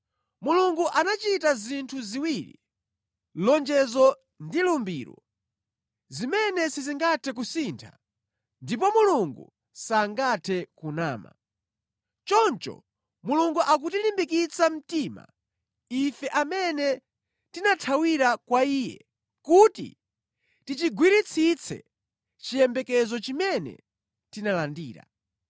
Mulungu anachita zinthu ziwiri, lonjezo ndi lumbiro, zimene sizingathe kusintha ndipo Mulungu sangathe kunama. Choncho Mulungu akutilimbikitsa mtima ife amene tinathawira kwa Iye kuti tichigwiritsitse chiyembekezo chimene tinalandira.